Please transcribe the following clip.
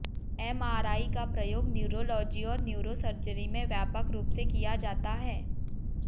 MRI का प्रयोग neurology और न्यूरोसर्जरी में व्यापक रूप से किया जाता है